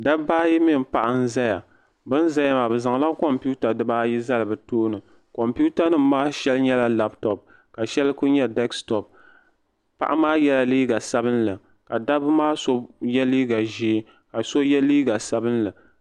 Dabbaayi mini paɣa n zaya bin zaya maa bɛ zaŋla kompiita dibaayi zali bɛ tooni kompiitanim maa shɛli nyela laptop ka shɛli nye deksitop paɣa maa yela liiga sabinli ka dabbi maa so ye liiga ʒee ka so ye liiga sabinli.